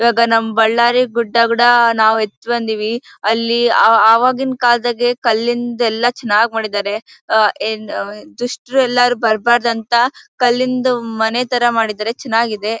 ಇವಾಗ ನಮ್ಮ್ ಬಳ್ಳಾರಿ ಗುಡ್ಡ ಕೂಡ ನಾವ್ ಎತ್ ಬಂದೀವಿ. ಅಲ್ಲಿ ಆ ಆವಾಗಿನ ಕಾಲದಾಗೆ ಕಲ್ಲಿಂದ ಎಲ್ಲ ಚೆನ್ನಾಗಿ ಮಾಡಿದಾರೆ. ಆ ಏನ್ ದುಷ್ಟರೆಲ್ಲ ಬರಬಾರದು ಅಂತ ಕಲ್ಲಿಂದು ಮನೆ ತರ ಮಾಡಿದ್ದಾರೆ ಚೆನ್ನಾಗಿದೆ.